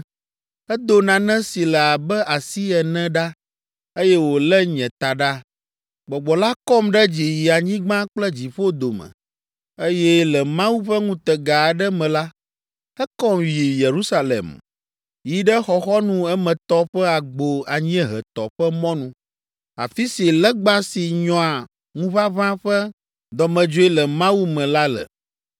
Edo nane si le abe asi ene ɖa, eye wolé nye taɖa. Gbɔgbɔ la kɔm ɖe dzi yi anyigba kple dziƒo dome, eye le Mawu ƒe ŋutega aɖe me la, ekɔm yi Yerusalem, yi ɖe xɔxɔnu emetɔ ƒe agbo anyiehetɔ ƒe mɔnu, afi si legba si nyɔa ŋuʋaʋã ƒe dɔmedzoe le Mawu me la le.